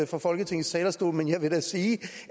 fra folketingets talerstol men jeg vil da sige